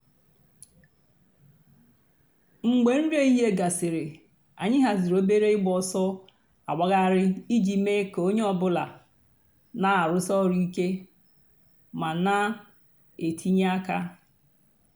mgbè nrí èhìhìè gásịrị ànyị̀ hàzìrì òbèrè ị̀gba òsọ̀ àgbàghàrì íjì mée kà ònyè ọ̀bula nà-àrụ́sí òrụ̀ íké mà nà-ètìnyè àkà.